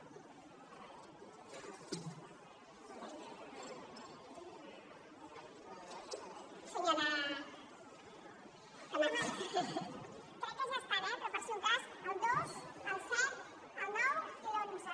crec que ja estan eh però per si un cas el dos el set el nou i l’onze